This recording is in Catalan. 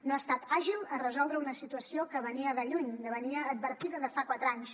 no ha estat àgil a resoldre una situació que venia de lluny venia advertida de fa quatre anys